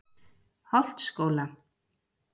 Holtsskóla